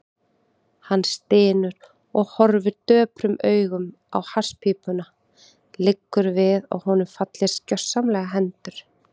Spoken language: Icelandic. Hann stynur og horfir döprum augum á hasspípuna, liggur við að honum fallist gersamlega hendur.